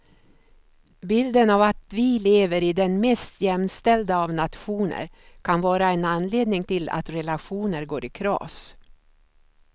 Bilden av att vi lever i den mest jämställda av nationer kan vara en anledning till att relationer går i kras.